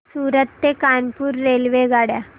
सूरत ते कानपुर रेल्वेगाड्या